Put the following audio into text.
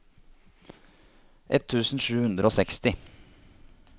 ett tusen sju hundre og seksti